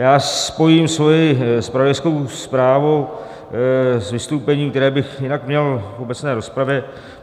Já spojím svoji zpravodajskou zprávu s vystoupením, které bych jinak měl v obecné rozpravě.